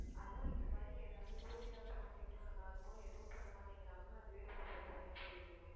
அதான் இந்த மாதிரி எதாவது route யாவது மாத்தி விட்டா நல்லாயிருக்கும் எதுவும் பண்ண மாட்டேங்குறாங்க. அதுவே ரொம்ப பிரச்சனையா போயிடுது நமக்கு